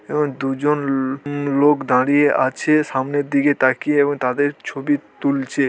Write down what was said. এবং দুজন লো-- উম লোক দাঁড়িয়ে আছে সামনের দিকে তাকিয়ে | এবং তাঁদের ছবি তুলছে।